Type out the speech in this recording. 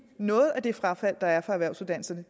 noget af det frafald der er på erhvervsuddannelserne